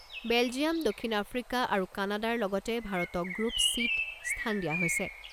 Belgium, দক্ষিণ Africa আৰু কানাডাৰ লগতে ভাৰতক গ্ৰুপ চিত স্থান দিয়া হৈছে।